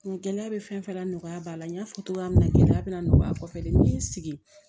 Gɛlɛya bɛ fɛn fɛn la nɔgɔya b'a la n y'a fɔ cogoya min na gɛlɛya bɛ nɔgɔya kosɛbɛ n'i y'i sigi